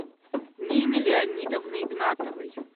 нины леонидовны игнатовой